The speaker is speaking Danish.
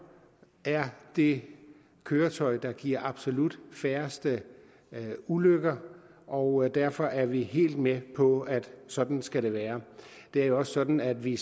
er det køretøj der giver absolut færrest ulykker og derfor er vi helt med på at sådan skal det være det er jo også sådan at vi